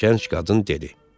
Gənc qadın dedi.